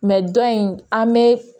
dɔ in an bɛ